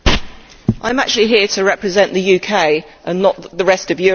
I am actually here to represent the UK and not the rest of Europe.